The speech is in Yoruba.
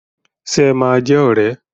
Ṣe ẹ máa jẹ́ ọ̀rẹ́?